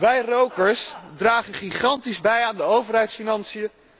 Wij rokers dragen gigantisch bij aan de overheidsfinanciën.